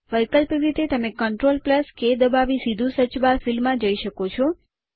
વૈકલ્પિક રીતે તમે Ctrl કે દબાવી સીધું સર્ચ બાર ફિલ્ડમાં જઈ શકો છો